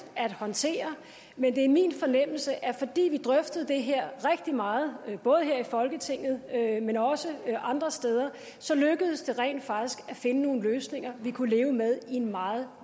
at håndtere men det er min fornemmelse at fordi vi drøftede det her rigtig meget både her i folketinget men også andre steder så lykkedes det rent faktisk at finde nogle løsninger vi kunne leve med i en meget